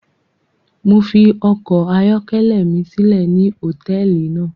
Mo fi ọkọ ayọkẹlẹ mi silẹ ni hotẹẹli náa